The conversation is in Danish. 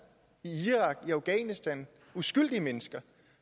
i irak i afghanistan uskyldige mennesker